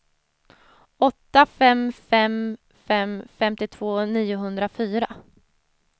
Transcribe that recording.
åtta fem fem fem femtiotvå niohundrafyra